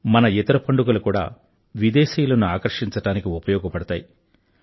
మన ఇతర పండుగలు కూడా విదేశీయులను ఆకర్షించడానికి ఉపయోగపడతాయి